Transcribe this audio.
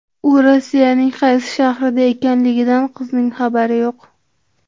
U Rossiyaning qaysi shahrida ekanligidan qizning xabari yo‘q.